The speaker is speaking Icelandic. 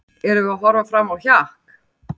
Erum við að horfa fram á hjakk?